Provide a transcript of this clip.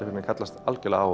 kallast algjörlega á